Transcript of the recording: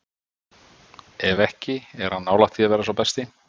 Ef ekki, er hann nálægt því að vera sá besti?